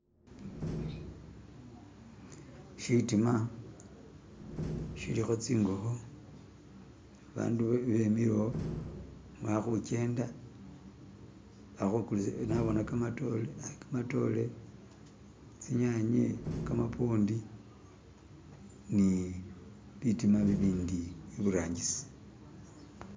Shitima shilikho tsingokho bandu bemilekho balikhujenda balikhugulisa nabona khamatore, tsinyanye, khamapondi, ni bitima bibindi iburangisi